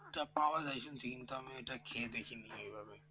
এটা পাওয়া যায় শুনছি কিন্তু আমি ওইটা খেয়ে দেখিনি এভাবে